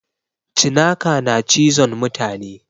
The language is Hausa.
Cinaka na cizon mutane